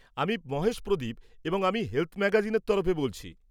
আমি মহেশ প্রদীপ এবং আমি হেলথ ম্যাগাজিনের তরফ থেকে বলছি।